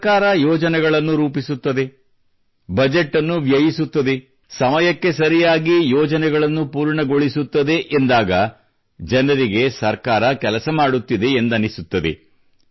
ಸರ್ಕಾರ ಯೋಜನೆಗಳನ್ನು ರೂಪಿಸುತ್ತದೆ ಬಜೆಟ್ ನ್ನು ವ್ಯಯಿಸುತ್ತದೆ ಸಮಯಕ್ಕೆ ಸರಿಯಾಗಿ ಯೋಜನೆಗಳನ್ನು ಪೂರ್ಣಗೊಳಿಸುತ್ತದೆ ಎಂದಾಗ ಜನರಿಗೆ ಸರ್ಕಾರ ಕೆಲಸ ಮಾಡುತ್ತಿದೆ ಎಂದು ಅನ್ನಿಸುತ್ತದೆ